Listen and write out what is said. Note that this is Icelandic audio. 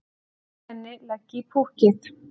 Auðmenn leggi í púkkið